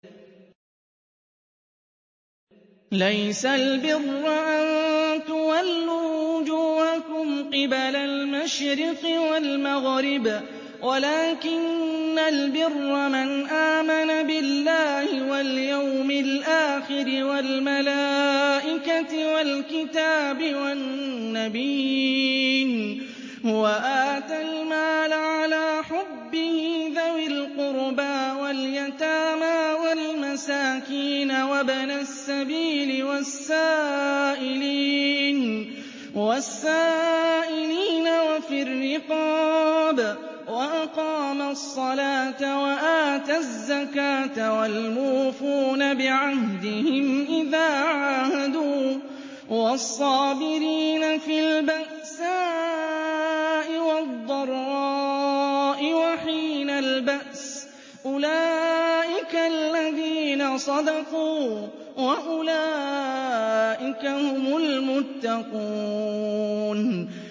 ۞ لَّيْسَ الْبِرَّ أَن تُوَلُّوا وُجُوهَكُمْ قِبَلَ الْمَشْرِقِ وَالْمَغْرِبِ وَلَٰكِنَّ الْبِرَّ مَنْ آمَنَ بِاللَّهِ وَالْيَوْمِ الْآخِرِ وَالْمَلَائِكَةِ وَالْكِتَابِ وَالنَّبِيِّينَ وَآتَى الْمَالَ عَلَىٰ حُبِّهِ ذَوِي الْقُرْبَىٰ وَالْيَتَامَىٰ وَالْمَسَاكِينَ وَابْنَ السَّبِيلِ وَالسَّائِلِينَ وَفِي الرِّقَابِ وَأَقَامَ الصَّلَاةَ وَآتَى الزَّكَاةَ وَالْمُوفُونَ بِعَهْدِهِمْ إِذَا عَاهَدُوا ۖ وَالصَّابِرِينَ فِي الْبَأْسَاءِ وَالضَّرَّاءِ وَحِينَ الْبَأْسِ ۗ أُولَٰئِكَ الَّذِينَ صَدَقُوا ۖ وَأُولَٰئِكَ هُمُ الْمُتَّقُونَ